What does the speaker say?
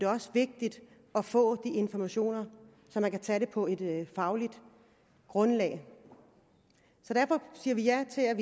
også vigtigt at få de informationer så man kan tage det på et fagligt grundlag så derfor siger vi ja til at